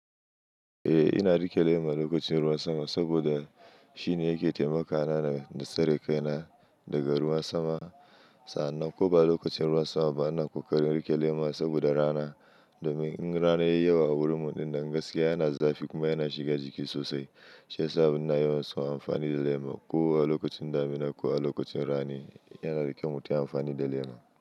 Eh ina riƙe lema lokacin ruwan sama saboda shine yake taimakawa na da tsare kai na daga ruwan sama. Sannan ko ba lokacin ruwan sama ba, ina ƙoƙarin riƙe lema saboda rana. Domin in rana yayi yawa a wurinmu, dinnan gaskiya yana zafi kuma yana shiga jiki sosai. Shi ya sa muna yawan so amfani da lema. Ko a lokacin damina ko a lokacin rani, yana da kyau mu tayi amfani da lema.